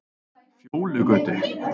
Fjólugötu